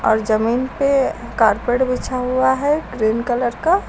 और जमीन पे कारपेट बिछा हुआ है ग्रीन कलर का।